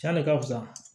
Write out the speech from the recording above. Cɛn de ka fisa